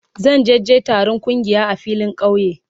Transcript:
Zan je je taron kungiya a filin kauye.